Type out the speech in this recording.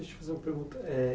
Deixa eu te fazer uma pergunta. Eh